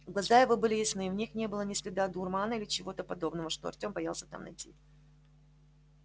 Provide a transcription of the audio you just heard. глаза его были ясны в них не было ни следа дурмана или чего-то подобного что артём боялся там найти